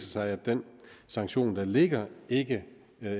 sig at den sanktion der ligger ikke